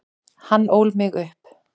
Hann ól mig upp.